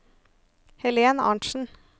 Helen Arntzen